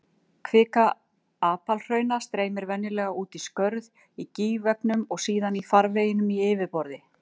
Kvika apalhrauna streymir venjulega út um skörð í gígveggjum og síðan í farvegum í yfirborði.